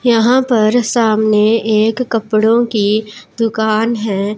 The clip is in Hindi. यहां पर सामने एक कपड़ों की दुकान है।